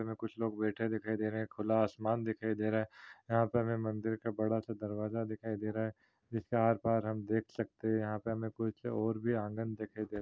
यहाँ कुछ लोग बईथे दिखाई दे रहे हैं खुला आसमान दिखाई दे रहा हैं यहाँ पर हमे मंदिर का बड़ सा दरवाजा दिखाई दे रहा हैं जिसके आरपार हम देख सकते हैं यहाँ पे हमे कुछ और भी आँगन दिखाई दे रहा--